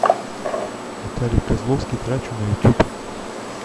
виталий козловский трачу на ютюб